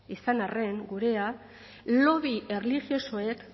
izan arren gurea lobby erlijiosoek